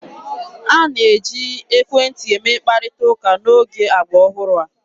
A na-eji ekwentị eme mkparịta ụka n'oge agba ọhụrụ a.